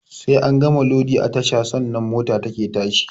Sai an gama lodi a tasha sannan mota take tashi